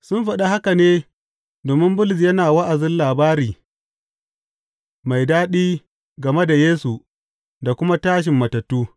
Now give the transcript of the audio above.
Sun faɗa haka ne domin Bulus yana wa’azin labari mai daɗi game da Yesu da kuma tashin matattu.